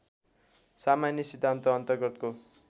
सामान्य सिद्धान्त अन्तर्गतको